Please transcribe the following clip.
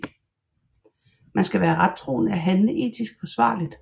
Man skal være rettroende og handle etisk forsvarligt